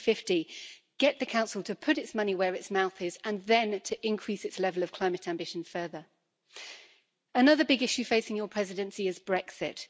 2050. Get the Council to put its money where its mouth is and then to increase its level of climate ambition further. Another big issue facing your Presidency is Brexit.